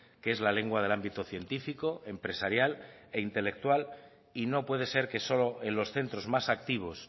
que es la lengua del ámbito científico empresarial e intelectual y no puede ser que solo en los centros más activos